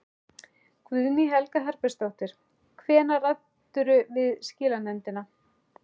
Guðný Helga Herbertsdóttir: Hvenær ræddirðu við skilanefndina?